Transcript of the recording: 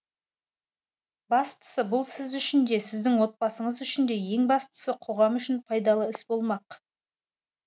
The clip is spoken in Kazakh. бастысы бұл сіз үшін де сіздің отбасыңыз үшін де ең бастысы қоғам үшін пайдалы іс болмақ